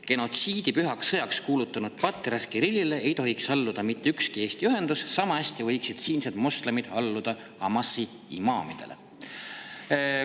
Genotsiidi pühaks sõjaks kuulutanud patriarh Kirillile ei tohiks alluda mitte ükski Eesti ühendus, sama hästi võiksid siinsed moslemid alluda Hamasi imaamidele.